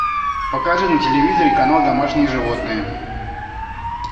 покажи на телевизоре канал домашние животные